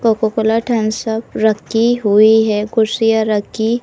Cocoa Cola Thums Up रखी हुई हैं। कुर्सिया रखी --